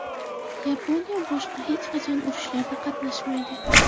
Yaponiya boshqa hech qachon urushlarda qatnashmaydi.